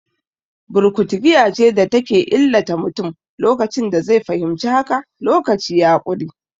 Burkutu giya ce da ke illata mutum, lokacin da zai fahimci haka, lokaci ya ƙure.